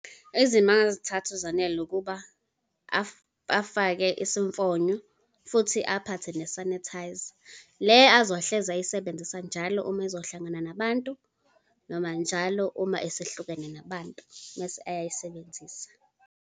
Izimo angazithatha uZanele ukuba afake isifonyo, futhi aphathe ne-sanitizer, le azohlezi ayisebenzisa njalo uma ezohlangana nabantu, noma njalo uma esihlukene nabantu, mese eyayisebenzisa.